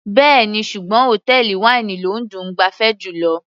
Bẹ́ẹ̀ni, ṣùgbọ́n hòtẹ́ẹ̀lì wáínì ló dùn -un gbafẹ́ jùlọ.